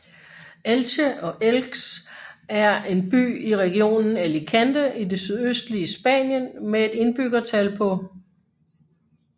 Elche og Elx er en by i regionen Alicante i det østlige Spanien med et indbyggertal på